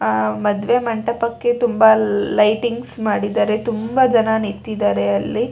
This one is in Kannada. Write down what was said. ಆಹ್ಹ್ ಮದುವೆ ಮಂಟಪಕ್ಕೆ ತುಂಬಾ ಲೈಟಿಂಗ್ಸ್ ಮಾಡಿದ್ದಾರೆ ತುಂಬಾ ಜನ ನಿಂತಿದ್ದಾರೆ ಅಲ್ಲಿ.